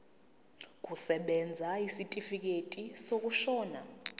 kusebenza isitifikedi sokushona